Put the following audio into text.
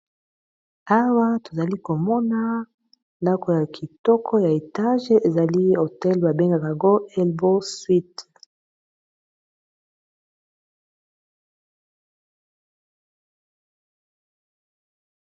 Awa tozali komona ndako ya kitoko ya etage ezali hotel babengaka go albow suit.